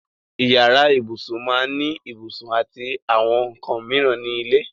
Ìyàrá ìbùṣún máá ní ìbùṣún àti àwọn nkàn míran ní ilẹ̀.